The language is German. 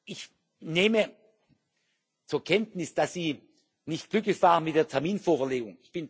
Ich nehme zur Kenntnis, dass Sie nicht glücklich waren mit der Terminvorverlegung.